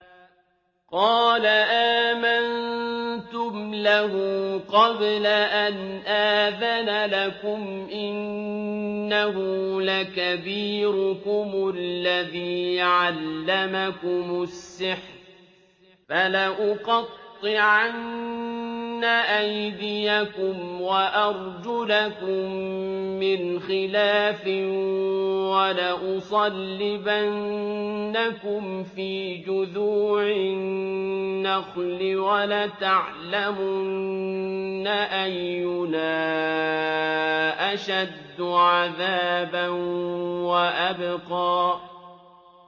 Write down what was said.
قَالَ آمَنتُمْ لَهُ قَبْلَ أَنْ آذَنَ لَكُمْ ۖ إِنَّهُ لَكَبِيرُكُمُ الَّذِي عَلَّمَكُمُ السِّحْرَ ۖ فَلَأُقَطِّعَنَّ أَيْدِيَكُمْ وَأَرْجُلَكُم مِّنْ خِلَافٍ وَلَأُصَلِّبَنَّكُمْ فِي جُذُوعِ النَّخْلِ وَلَتَعْلَمُنَّ أَيُّنَا أَشَدُّ عَذَابًا وَأَبْقَىٰ